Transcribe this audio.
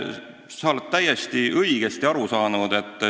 Sa oled täiesti õigesti aru saanud.